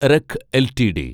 wreck LTD